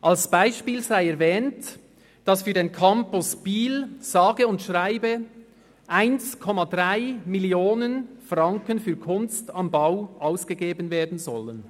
Als Beispiel sei erwähnt, dass für den Campus Biel sage und schreibe 1,3 Mio. Franken für «Kunst am Bau» ausgegeben werden sollen.